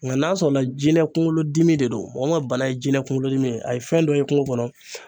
Nga n'a sɔrɔla jinɛ kunkolodimi de don, mɔgɔ min ka bana ye jinɛ kunkolodimi ye a ye fɛn dɔ ye kungo kɔnɔ